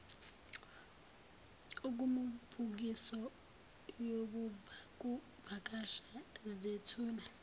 kumibukiso yokuvakasha zethula